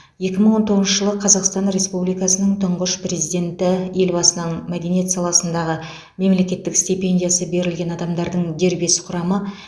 екі мың он тоғызыншы жылы қазақстан республикасының тұңғыш президенті елбасының мәдениет саласындағы мемлекеттік стипендиясы берілген адамдардың дербес құрамы